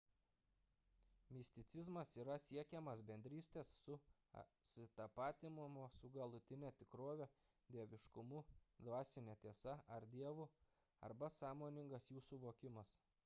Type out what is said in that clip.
misticizmas yra siekimas bendrystės ar susitapatinimo su galutine tikrove dieviškumu dvasine tiesa ar dievu arba sąmoningas jų suvokimas